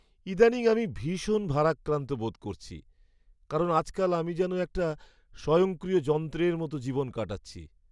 ইদানীং আমি ভীষণ ভারাক্রান্ত বোধ করছি, কারণ আজকাল আমি যেন একটা স্বয়ংক্রিয় যন্ত্রের মতো জীবন কাটাচ্ছি।